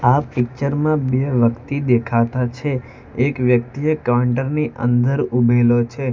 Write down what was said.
આ પિક્ચર માં બે વ્યક્તિ દેખાતા છે એક વ્યક્તિએ કાઉન્ટર ની અંદર ઉભેલો છે.